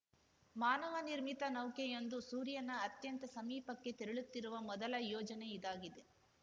ಮಾನವ ನಿರ್ಮಿತ ನೌಕೆಯೊಂದು ಸೂರ್ಯನ ಅತ್ಯಂತ ಸಮೀಪಕ್ಕೆ ತೆರಳುತ್ತಿರುವ ಮೊದಲ ಯೋಜನೆ ಇದಾಗಿದೆ